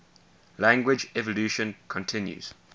language evolution continues